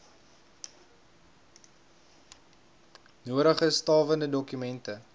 nodige stawende dokumente